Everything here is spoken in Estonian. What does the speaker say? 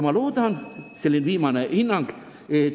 Ma loodan – veel viimane hinnang!